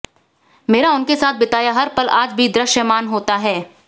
मेरा उनके साथ बिताया हर पल आज भी दृश्यमान होता है